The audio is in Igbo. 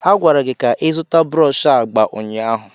A gwara gị ka ị zụta brọsh agba ụnyaahụ.